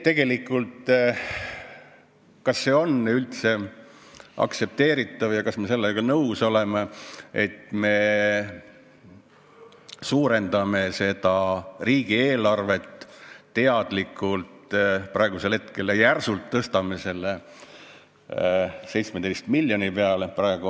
Kas see on üldse aktsepteeritav ja kas me sellega nõus oleme, et me suurendame praegu teadlikult riigieelarvet ja tõstame järsult selle summa 17 miljoni peale?